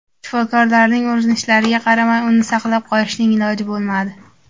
Shifokorlarning urinishlariga qaramay uni saqlab qolishning iloji bo‘lmadi.